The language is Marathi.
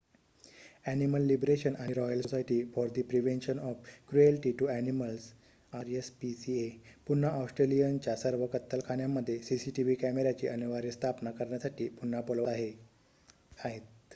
अ‍ॅनिमल लिबरेशन आणि royal society for the prevention of cruelty to animals rspca पुन्हा ऑस्ट्रेलियनच्या सर्व कत्तलखान्यांमध्ये cctv कॅमेर्‍याची अनिवार्य स्थापना करण्यासाठी पुन्हा बोलवत आहेत